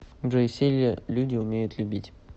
джой все ли люди умеют любить